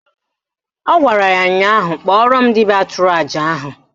Ọ gwara ya ụnyaahụ "Kpọrọ m dibịa tụrụ àjà ahụ"!